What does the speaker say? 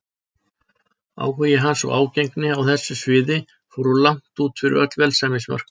Áhugi hans og ágengni á þessu sviði fóru langt út yfir öll velsæmismörk.